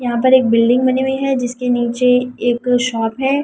यहां पर एक बिल्डिंग बनी हुई है जिसके नीचे एक शॉप है।